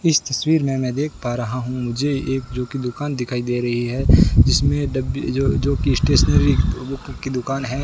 इस तस्वीर मे मैं देख पा रहा हूं मुझे एक जो की दुकान दिखाई दे रही है जिसमें डब्बे जो-जो की स्टेशनरी बुक की दुकान है।